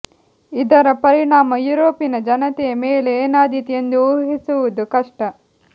ಇದರ ಪರಿಣಾಮ ಯುರೋಪಿನ ಜನತೆಯ ಮೇಲೆ ಏನಾದೀತು ಎಂದು ಊಹಿಸುವುದು ಕಷ್ಟ